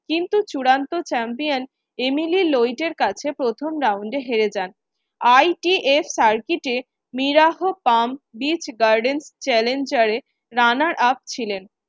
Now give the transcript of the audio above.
কিন্তু চূড়ান্ত champion Emily এর কাছে প্রথম round এ হেরে যান। ITS circuit এ challenger এ runner up ছিলেন।